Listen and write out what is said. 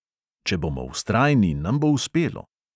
Če bomo vztrajni, nam bo uspelo.